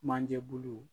Manje bulu